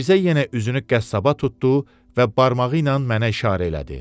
Mirzə yenə üzünü qəssaba tutdu və barmağı ilə mənə işarə elədi.